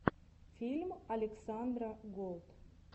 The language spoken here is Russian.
фильм александра голд